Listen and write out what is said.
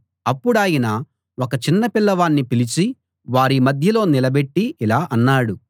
అప్పుడాయన ఒక చిన్న పిల్లవాణ్ణి పిలిచి వారి మధ్యలో నిలబెట్టి ఇలా అన్నాడు